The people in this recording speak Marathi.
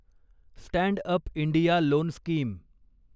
stand up India loan scheme